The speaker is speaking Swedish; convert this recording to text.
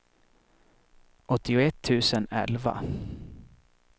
åttioett tusen elva